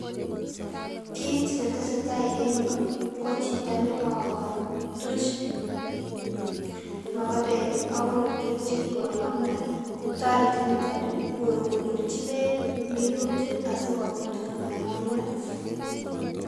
Kit netesetai en yu ko chito nekoo tuch mogobek ak korotwek chekikoyomio. Toreti niton ni kokonorchi beek minutik asikobit komoyomio.